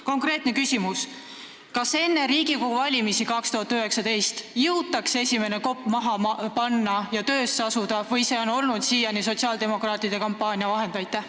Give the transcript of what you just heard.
Konkreetne küsimus: kas enne Riigikogu valimisi 2019. aastal jõutakse kopp maasse lüüa ja tööle asuda või see on siiani olnud vaid sotsiaaldemokraatide kampaaniavahend?